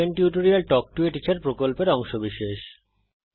spoken tutorial talk to a teacher প্রকল্পের অংশবিশেষ